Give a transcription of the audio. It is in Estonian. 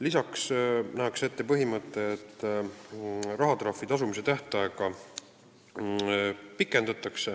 Lisaks pikendatakse rahatrahvi tasumise tähtaega.